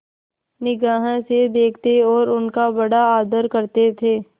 निगाह से देखते और उनका बड़ा आदर करते थे